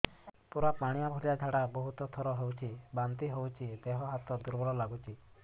ପୁରା ପାଣି ଭଳିଆ ଝାଡା ବହୁତ ଥର ହଉଛି ବାନ୍ତି ହଉଚି ଦେହ ହାତ ଦୁର୍ବଳ ଲାଗୁଚି